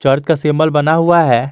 अर्थ का सिंबल बना हुआ है।